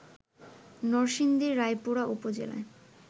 নরসিংদীর রায়পুরা উপজেলায়